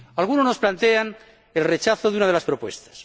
Algunos nos plantean el rechazo de una de las propuestas.